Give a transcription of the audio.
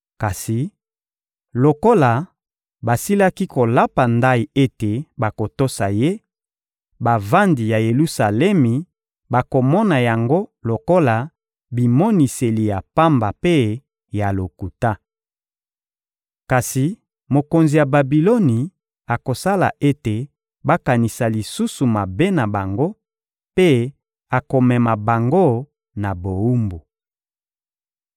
Kasi lokola basilaki kolapa ndayi ete bakotosa ye, bavandi ya Yelusalemi bakomona yango lokola bimoniseli ya pamba mpe ya lokuta. Kasi mokonzi ya Babiloni akosala ete bakanisa lisusu mabe na bango, mpe akomema bango na bowumbu.